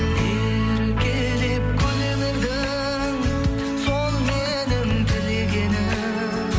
еркелеп күле бердің сол менің тілегенім